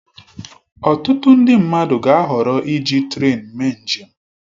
Ọtụtụ ndị mmadụ ga-ahọrọ iji trén mee njem